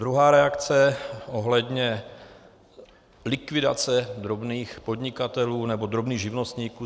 Druhá reakce ohledně likvidace drobných podnikatelů nebo drobných živnostníků.